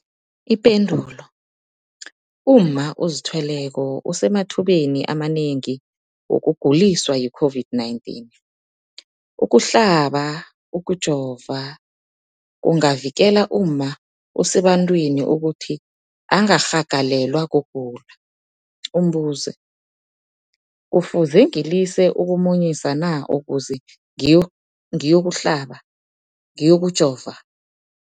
Ipendulo, umma ozithweleko usemathubeni amanengi wokuguliswa yi-COVID-19. Ukuhlaba, ukujova kungavikela umma osebantwini ukuthi angarhagalelwa kugula. Umbuzo, kufuze ngilise ukumunyisa na ukuze ngiyokuhlaba, ngiyokujova?